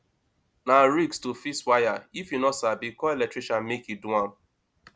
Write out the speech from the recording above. na risk to fix wire if you no sabi call electrician make e do am